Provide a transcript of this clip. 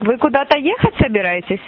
вы куда-то ехать собираетесь